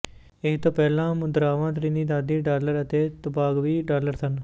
ਇਹ ਤੋਂ ਪਹਿਲਾਂ ਮੁਦਰਾਵਾਂ ਤ੍ਰਿਨੀਦਾਦੀ ਡਾਲਰ ਅਤੇ ਤੋਬਾਗਵੀ ਡਾਲਰ ਸਨ